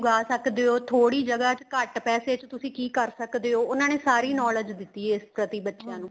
ਉਗਾਹ ਸਕਦੇ ਹੋ ਥੋੜੀ ਜਗਾਂ ਚ ਘੱਟ ਪੈਸੇ ਚ ਤੁਸੀਂ ਕੀ ਕਰ ਸਕਦੇ ਹੋ ਉਹਨਾ ਨੇ ਸਾਰੀ knowledge ਦਿੱਤੀ ਇਸ ਪ੍ਰਤੀ ਬੱਚਿਆ ਨੂੰ